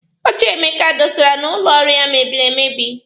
Oche Emeka dọsara n'ụlọ ọrụ ya mebiri emebi.